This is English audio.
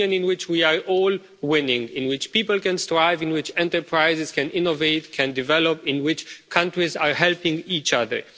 a Union in which we are all winning, in which people can strive, in which enterprises can innovate, can develop, in which countries are helping each other.